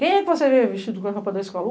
Quem é que você vê vestido com a roupa da escola?